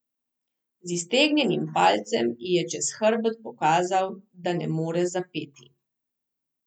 Z iztegnjenim palcem ji je čez hrbet pokazal, da ne more zapeti.